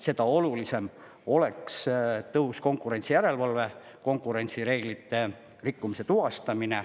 Seda olulisem oleks tõhus konkurentsijärelevalve, konkurentsireeglite rikkumise tuvastamine.